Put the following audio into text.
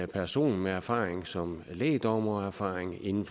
person med erfaring som lægdommer og erfaring inden